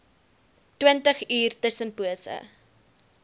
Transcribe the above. twintig uur tussenpose